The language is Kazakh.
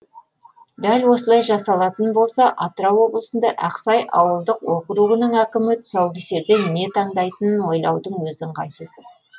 дәл осылай жасалатын болса атырау облысындағы ақсай ауылдық округінің әкімі тұсаукесерде не таңдайтынын ойлаудың өзі ыңғайсыз